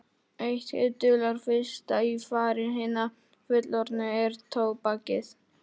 Það var litla og kvika konan í peysufötunum sem kallaði.